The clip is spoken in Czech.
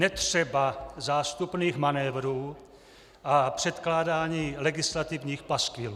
Netřeba zástupných manévrů a předkládání legislativních paskvilů.